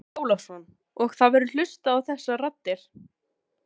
Andri Ólafsson: Og það verður hlustað á þessar raddir?